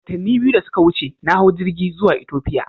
Watanni biyu da suka wuce, na hau jirgi zuwa Ethiopia.